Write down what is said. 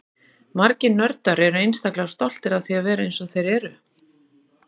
Margir nördar eru einstaklega stoltir af því að vera eins og þeir eru.